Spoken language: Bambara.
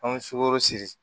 An bɛ sukoro siri